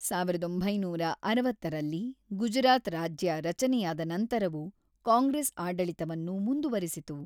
ಸಾವಿರದ ಒಂಬೈನೂರ ಅರವತ್ತರಲ್ಲಿ ಗುಜರಾತ್ ರಾಜ್ಯ ರಚನೆಯಾದ ನಂತರವೂ ಕಾಂಗ್ರೆಸ್ ಆಡಳಿತವನ್ನು ಮುಂದುವರಿಸಿತು.